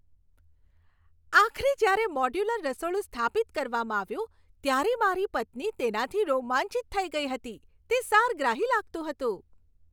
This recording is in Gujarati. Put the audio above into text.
આખરે જ્યારે મોડ્યુલર રસોડું સ્થાપિત કરવામાં આવ્યું ત્યારે મારી પત્ની તેનાથી રોમાંચિત થઈ ગઈ હતી. તે સારગ્રાહી લાગતું હતું!